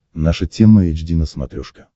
наша тема эйч ди на смотрешке